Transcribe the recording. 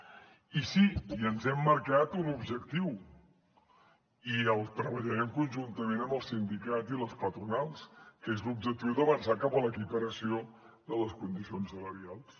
i sí i ens hem marcat un objectiu i el treballarem conjuntament amb els sindicats i les patronals que és l’objectiu d’avançar cap a l’equiparació de les condicions salarials